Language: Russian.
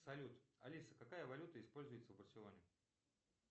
салют алиса какая валюта используется в барселоне